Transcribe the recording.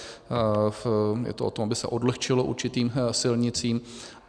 Je to o tom, aby se odlehčilo určitým silnicím.